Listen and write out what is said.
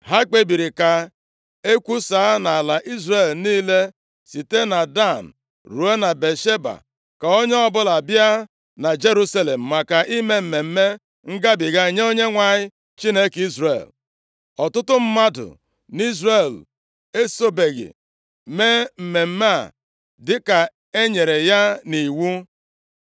Ha kpebiri ka e kwusaa nʼala Izrel niile site na Dan ruo na Bịasheba ka onye ọbụla bịa na Jerusalem maka ime Mmemme Ngabiga nye Onyenwe anyị, Chineke Izrel. Ọtụtụ mmadụ nʼIzrel esobeghị mee mmemme a dịka e nyere ya nʼiwu.